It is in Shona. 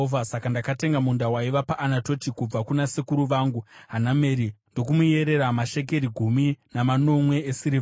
saka ndakatenga munda waiva paAnatoti kubva kuna sekuru vangu Hanameri ndokumuyerera mashekeri gumi namanomwe esirivha.